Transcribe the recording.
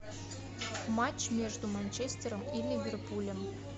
матч между манчестером и ливерпулем